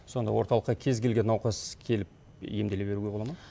сонда орталыққа кез келген науқас келіп емделе беруге бола ма